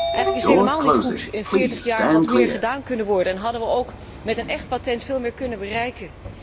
Eigenlijk is het helemaal niet goed in veertig jaar had meer gedaan kunnen worden en hadden we met een écht patent veel meer kunnen bereiken.